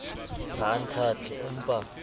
ha o nthate o mpa